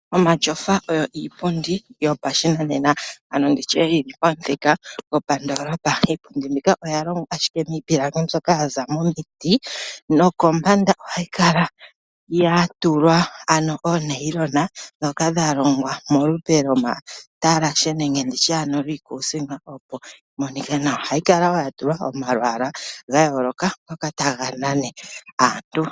Omatyofa oyo iipundi yopa shi nanena, ano ndi tye yili pamuthika gopandoolopa. Iipundi mbika oya longwa ashike miipilangi mbyoka yaza momiti nokombanda, oha yi kala ya tulwa oonayilona ,dhoka dha longwa molupe lwomatalashe nenge, nditye lwiikuusinga, opo yi monike nawa. Oha yi kala woo ya tulwa omalwaala gayooloka ngoka ta ga nana aantu.